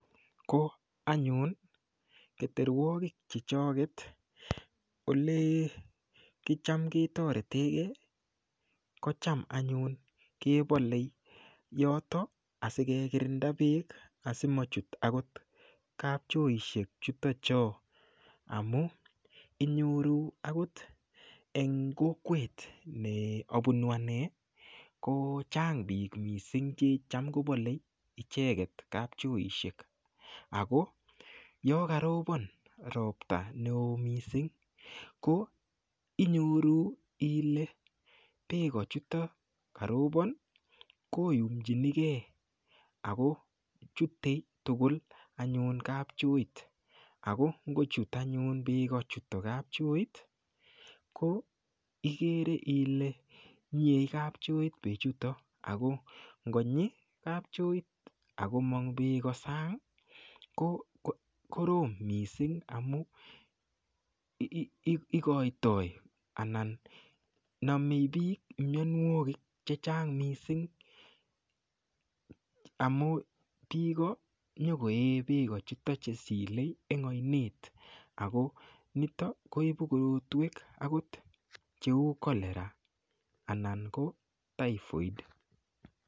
Ko anyun keterwokik chechoket ole cham ketoretegei ko cham anyun kebolei yoto asikekirinda beek asimachut akot kapchoishek chuto choo amu inyoru akot eng' kokwet neabunu ane kochang' biik mising' checham kobolei icheget kapchoishek ako yo karobon ropta ne oo mising' ko inyoru ile beko chuto karobon koyumchinigei ako chutei tugul anyun kapchoit ako ngochut anyun beko chutok kapchoit ko ikere ile nyiei kapchoit bechuto ako ngonyi kapchoit akomong' beko sang' kokorom mising' amun ikoitoi anan nomei biik miyonwokik chechang' mising' amu biko nyikoe beko chuto chesilei eng' oinet ako nitok koibu korotwek akot cheu cholera anan ko typhoid